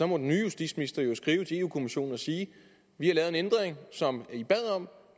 må den nye justitsminister jo skrive til europa kommissionen og sige vi har lavet en ændring som i bad om